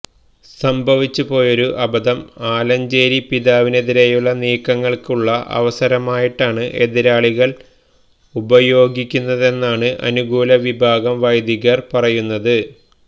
സംഭവിച്ചുപോയൊരു അബദ്ധം ആലഞ്ചേരി പിതാവിനെതിരേയുള്ള നീക്കങ്ങള്ക്കുള്ള അവസരമായിട്ടാണ് എതിരാളികള് ഉപയോഗിക്കുന്നതെന്നാണ് അനുകൂല വിഭാഗം വൈദികര് പറയുന്നത്